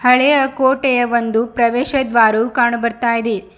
ಹಳೆಯ ಕೋಟೆಯ ಒಂದು ಪ್ರವೇಶ ದ್ವಾರು ಕಾಣು ಬರ್ತ್ತಾ ಇದೆ.